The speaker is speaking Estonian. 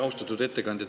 Austatud ettekandja!